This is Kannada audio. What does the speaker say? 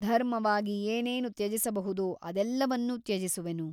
ಧರ್ಮವಾಗಿ ಏನೇನು ತ್ಯಜಿಸಬಹುದೋ ಅದೆಲ್ಲವನ್ನೂ ತ್ಯಜಿಸುವೆನು.